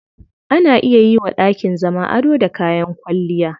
Ana iya yiwa dakin zama ado da kayan kwalliya.